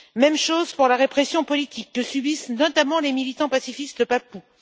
Même chose pour la répression politique que subissent notamment les militants pacifistes papous.